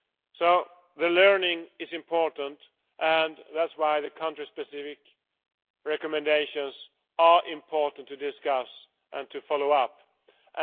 So learning is important, and that is why the country specific recommendations are important to discuss and to follow up on.